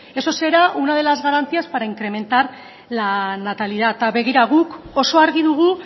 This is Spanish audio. eso será una de las garantías para incrementar la natalidad eta begira guk oso argi dugu